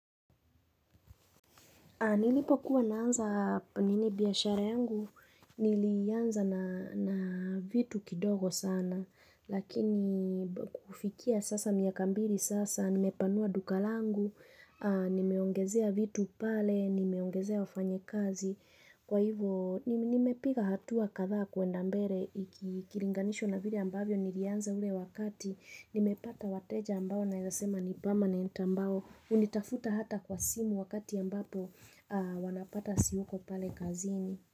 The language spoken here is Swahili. Nilipo kuwa naanza nini biashara yangu, nilianza na vitu kidogo sana, lakini kufikia sasa miaka mbili sasa, nimepanua duka langu, nimeongezea vitu pale, nimeongezea wafanyikazi. Kwa hivyo nimepiga hatua kadhaa kuenda mbele ikilinganishwa na vile ambavyo nilianza ule wakati, nimepata wateja ambao naweza sema ni permanent ambao hunitafuta hata kwa simu wakati ambapo wanapata siko pale kazini.